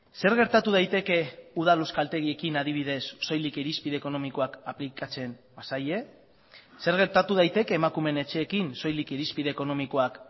zer gertatu daiteke udal euskaltegiekin adibidez soilik irizpide ekonomikoak aplikatzen bazaie zer gertatu daiteke emakumeen etxeekin soilik irizpide ekonomikoak